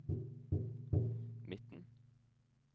midten